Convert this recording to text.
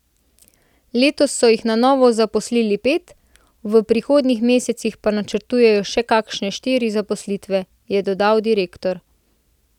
Letos so jih na novo zaposlili pet, v prihodnjih mesecih pa načrtujejo še kakšne štiri zaposlitve, je dodal direktor.